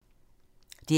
DR P2